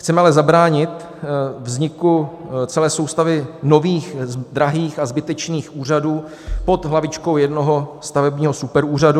Chceme ale zabránit vzniku celé soustavy nových drahých a zbytečných úřadů pod hlavičkou jednoho stavebního superúřadu.